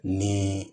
Ni